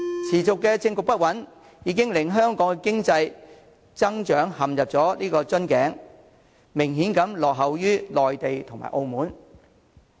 持續的政局不穩，已令香港經濟增長陷入瓶頸，明顯落後於內地及澳門。